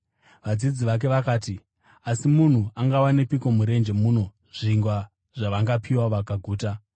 Vadzidzi vake vakati, “Asi munhu angawanepiko murenje muno zvingwa zvavangapiwa vakaguta?”